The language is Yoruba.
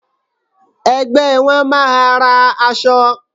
Ẹgbẹ́ won máa ra aṣọ.